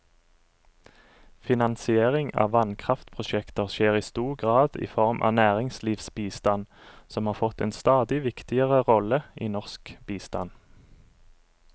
Finansiering av vannkraftprosjekter skjer i stor grad i form av næringslivsbistand, som har fått en stadig viktigere rolle i norsk bistand.